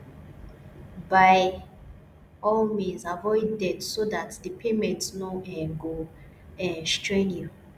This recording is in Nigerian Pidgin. by all means avoid debts so that di payment no um go um strain you